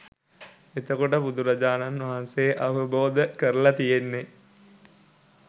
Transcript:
එතකොට බුදුරජාණන් වහන්සේ අවබෝධ කරල තියෙන්නේ